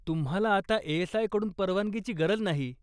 तुम्हाला आता ए.एस.आय. कडून परवानगीची गरज नाही.